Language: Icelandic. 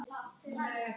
Við vitum ekkert annað.